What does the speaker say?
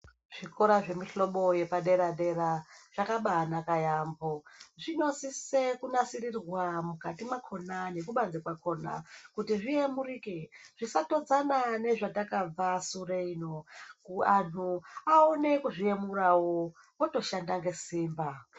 Zvikora zvemihlobo yepadera dera zvakabanaka yaamho. Zvinosise kunasisirwa mwukati mwakona nekubanze kwakona kuti zviyamurike zvisatodzana nezvatakabva sure iyo. Aa nhu awone kuzviyemurawo wotoshanda ngesimba.